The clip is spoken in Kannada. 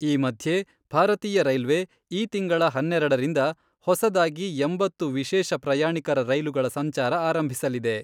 ಈ ಮಧ್ಯೆ ಭಾರತೀಯ ರೈಲ್ವೆ ಈ ತಿಂಗಳ ಹನ್ನೆರೆಡರಿಂದ ಹೊಸದಾಗಿ ಎಂಬತ್ತು ವಿಶೇಷ ಪ್ರಯಾಣಿಕರ ರೈಲುಗಳ ಸಂಚಾರ ಆರಂಭಿಸಲಿದೆ.